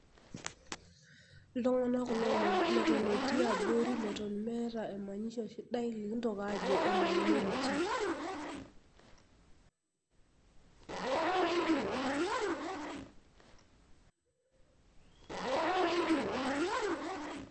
iltung'anak kulo leton etii aborileton meeta emanyisho sidai likingoki ajo CS[minority]CS .